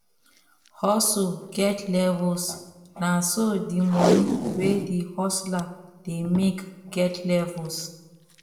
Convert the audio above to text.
hustle get levels na so di money wey di hustler dey make get levels